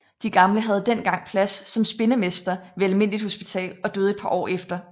Den gamle havde den gang plads som spindemester ved almindeligt hospital og døde et par år efter